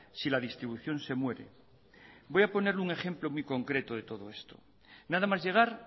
si la distribución se muere voy a ponerle un ejemplo muy concreto de todo esto nada más llegar